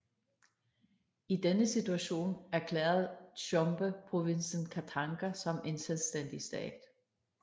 I denne situation erklærede Tshombe provinsen Katanga som en selvstændig stat